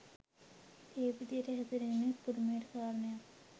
මේ විදිහට හැසිරෙන එක පුදුමයට කාරණයක්.